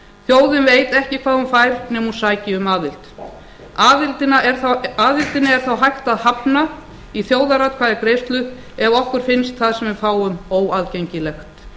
þjóðin veit ekki hvað hún fær nema hún sæki um aðild aðildinni er þó hægt að hafna í þjóðaratkvæðagreiðslu ef okkur finnst það sem við fáum óaðgengilegt